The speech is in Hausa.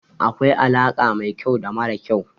Akwai alaƙa mai kyau da mara kyau.